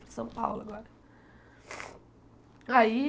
Para São Paulo agora. aí